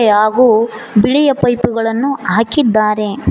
ಯ ಹಾಗು ಬಿಳಿಯ ಪೈಪುಗಳನ್ನು ಹಾಕಿದ್ದಾರೆ.